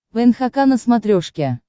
нхк на смотрешке